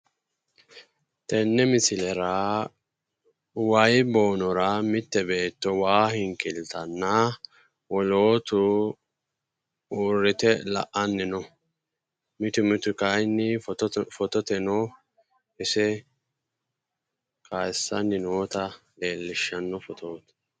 Tenne misilera wayii boonora mitte beetto waa hinkiiltanna wolootu uurrite la'anni no mitu mitu kayiinni fototeno ise kayiissanni noota leellishshanno fotooti.